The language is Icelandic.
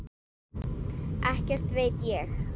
Ekkert veit ég.